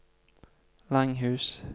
Langhus